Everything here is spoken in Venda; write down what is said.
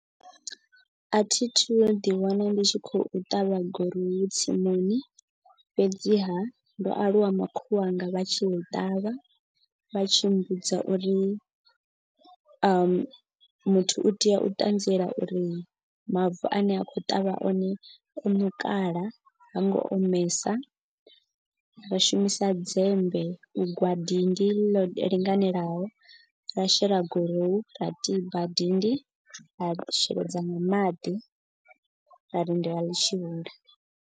A thi thu ḓi wana ndi tshi khou ṱavha gurowu tsimuni. Fhedziha ndo aluwa makhulu wanga vha tshi i ṱavha vha tshi mmbudza uri muthu u tea u ṱanziela uri mavu ane a khou ṱavha one o ṋukala ha ngo omesa. Ra shumisa dzembe u gwa dindi ḽo linganelaho ra shela gorohu ra tiba dindi ra sheledza nga maḓi ra lindela ḽitshi hula.